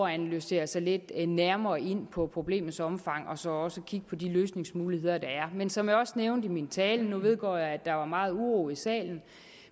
at analysere sig lidt nærmere ind på problemets omfang og så også kigge på de løsningsmuligheder der er men som jeg også nævnte i min tale nu vedgår jeg at der var meget uro i salen